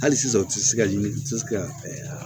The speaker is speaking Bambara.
Hali sisan u ti se ka ɲini ka